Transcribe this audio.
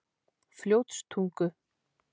Fljótstungu